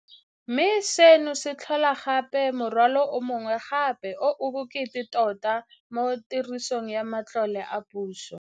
Mme seno se tlhola gape morwalo o mongwe gape o o bokete tota mo tirisong ya matlole a puso.